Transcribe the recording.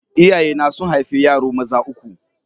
Iyayena sun haifi yaro maza uku.